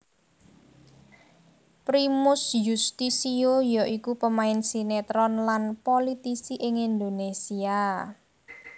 Primus Yustisio ya iku pemain sinetron lan politisi ing Indonésia